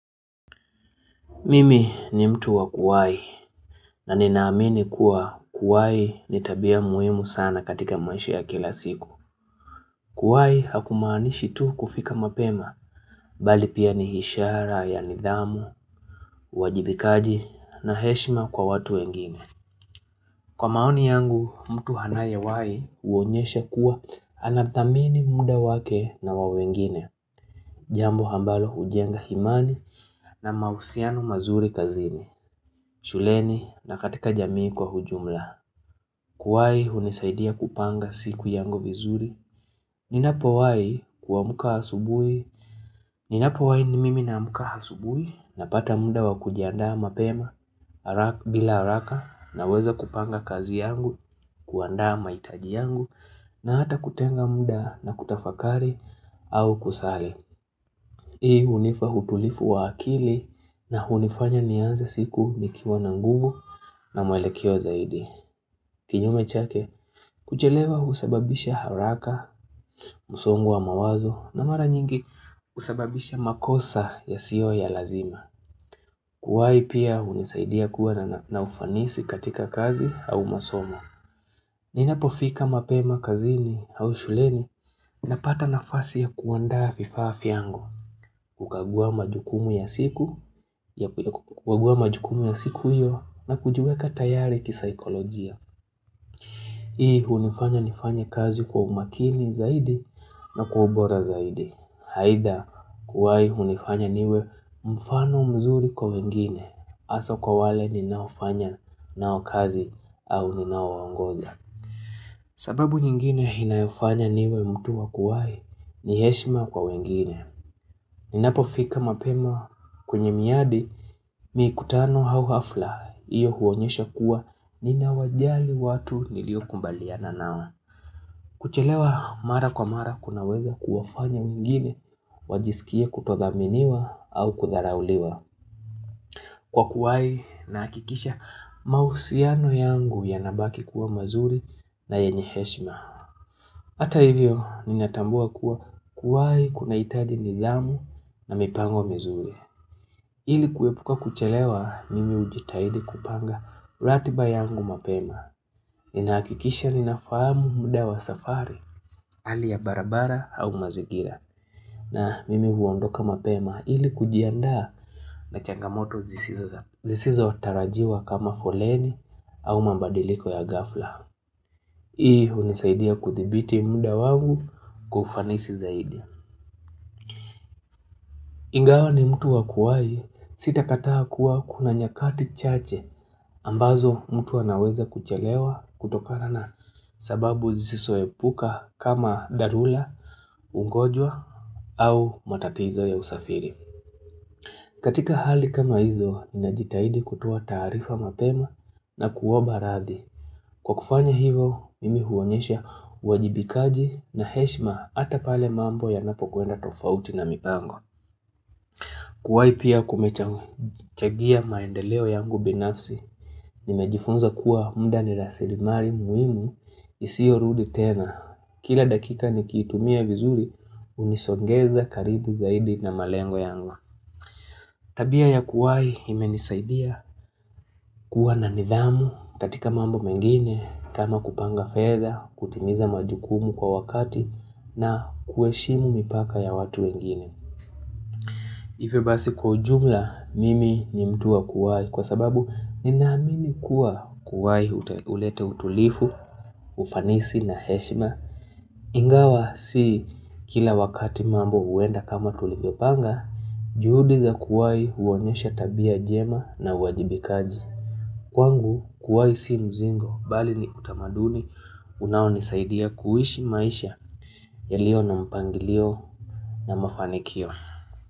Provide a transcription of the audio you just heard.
Mimi ni mtu wa kuwai na ninaamini kuwa kuwai ni tabia muhimu sana katika maisha ya kila siku. Kuwai haku maanishi tu kufika mapema, mbali pia ni hishara ya nidhamu, uwajibikaji na heshima kwa watu wengine. Kwa maoni yangu, mtu hanaye wai uonyeshe kuwa anathamini muda wake na wa wengine. Jambo hambalo hujenga himani na mausiano mazuri kazini. Shuleni na katika jamii kwa hujumla Kuwai hunisaidia kupanga siku yangu vizuri Ninapo wai kuamuka hasubui Ninapo wai ni mimi na amuka hasubui Napata muda wa kujiandaa mapema bila haraka, na weza kupanga kazi yangu kuandaa maitaji yangu na hata kutenga munda na kutafakari au kusali Hii hunifa hutulifu wa akili na hunifanya nianze siku nikiwa na nguvu na mwelekeo zaidi. Kinyume chake kuchelewa husababisha haraka Musongo wa mawazo na mara nyingi husababisha makosa ya siyo ya lazima Kuwai pia hunisaidia kuwa na ufanisi katika kazi au masomo Ninapofika mapema kazini au shuleni Napata nafasi ya kuwandaa fifaa fyangu kukagua majukumu ya siku kukagua majukumu ya siku iyo, na kujiweka tayari kisaikolojia Hii unifanya nifanye kazi kwa umakini zaidi na kwa ubora zaidi. Haidha kuwai hunifanya niwe mfano mzuri kwa wengine asa kwa wale ninaofanya nao kazi au ninao waongoza sababu nyingine inayofanya niwe mtu wa kuwai, ni heshima kwa wengine Ninapo fika mapema kwenye miadi mikutano hau hafla Iyo huonyesha kuwa nina wajali watu nilio kumbalia nao. Kuchelewa mara kwa mara kunaweza kuwafanya wengine wajisikie kutodhaminiwa au kutharauliwa Kwa kuwai na akikisha mausiano yangu yanabaki kuwa mazuri na yenye heshma Hata hivyo ninatambua kuwa kuwai kunaitaji nidhamu na mipango mizuri. Ili kuepuka kuchelewa mimi ujitahidi kupanga ratiba yangu mapema. Ninaakikisha ninafahamu muda wa safari ali ya barabara au mazingira. Na mimi huondoka mapema ili kujiandaa na changamoto zisizo tarajiwa kama foleni au mambadiliko ya ghafla. Hii unisaidia kuthibiti muda wangu kufanisi zaidi. Ingawa ni mtu wakuwai sitakataa kuwa kuna nyakati chache ambazo mtu anaweza kuchelewa kutokana na sababu zisiso epuka kama dharula, ungojwa au matatizo ya usafiri. Katika hali kama hizo, najitaidi kutuwa tarifa mapema na kuomba radhi. Kwa kufanya hivo, mimi huonyesha uwajibikaji na heshma ata pale mambo ya napo kwenda tofauti na mipango. Kuwai pia kumechangia maendeleo yangu binafsi, nimejifunza kuwa mda ni rasilimari muhimu, isio rudi tena. Kila dakika ni kiitumia vizuri, unisongeza karibu zaidi na malengo yangu. Tabia ya kuwai imenisaidia kuwa na nidhamu, katika mambo mengine, kama kupanga fedha, kutimiza majukumu kwa wakati na kuheshimu mipaka ya watu wengine. Hivyo basi kwa ujumla mimi ni mtu wa kuwai kwa sababu ninaamini kuwa kuwai ulete utulifu, ufanisi na heshima. Ingawa si kila wakati mambo uenda kama tulivyo panga, juhudi za kuwai uonyesha tabia jema na uwajibikaji. Kwangu kuwai si mzingo, bali ni utamaduni unawo ni saidia kuishi maisha yalio na mpangilio na mafanikio.